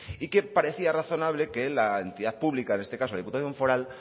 y que parecía razonable que la entidad pública en este caso la diputación foral